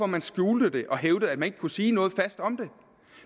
man skjulte det og hævdede at man ikke kunne sige noget fast om det